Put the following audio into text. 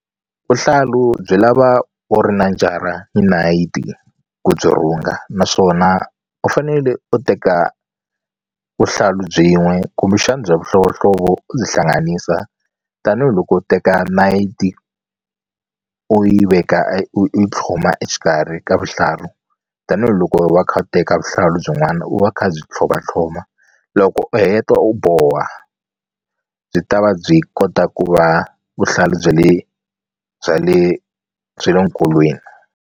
Vuhlalu byi lava u ri na njara ni nayiti ku byi rhunga naswona u fanele u teka vuhlalu byin'we kumbexana bya mihlovohlovo u byi hlanganisa tanihiloko u teka nayiti u yi veka u u tlhloma exikarhi ka vuhlalu tanihiloko va kha u teka vuhlalu byin'wana u va kha byi tlhlomatlhloma loko u heta u boha byi ta va byi kota ku va vuhlalu bya le bya le bya le nkolweni.